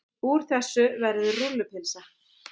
Úr þessu verður rúllupylsa.